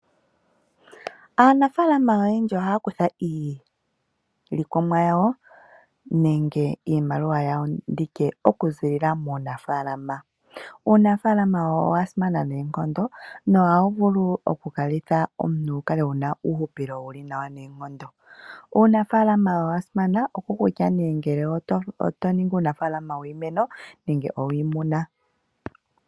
Aanafalama oyendji ohaakutha iilikolomwa yawo okuza muunafala nuunafalama owasimana noonkondo no hawu vulitha omuntu akale ena uuhupilo wuli nawa noonkondo. Uunafalama owasimana shiikwatelela kutya otoningi uunafalama wiimonene nenge owiimuna.